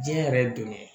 Diɲɛ yɛrɛ ye don ye